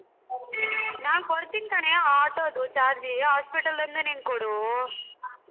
ನಾನ್ ಕೊಡ್ತೀನ್ ಕಣೆ auto ದು charge ಇ hospital ದ್ ಒಂದೆ ನೀನ್ ಕೊಡು.